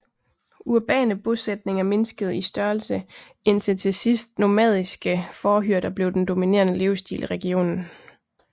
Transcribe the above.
Urbane bosætninger mindskede i størrelse indtil til sidst nomadiske fårehyrder blev den dominerende levestil i regionen